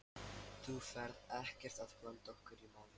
Þú ferð ekkert að blanda okkur í málið?